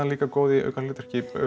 líka góð í hlutverki